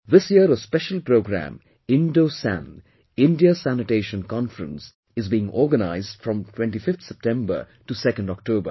This year a special programme 'INDOSAN' India Sanitation Conference is being organized from 25th September to 2nd October